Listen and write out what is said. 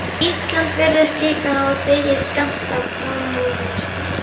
Ísland virðist líka hafa þegið skammt af kommúnisma